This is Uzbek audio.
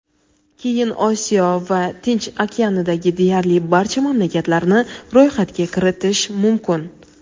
Keyin Osiyo va Tinch okeanidagi deyarli barcha mamlakatlarni ro‘yxatga kiritish mumkin.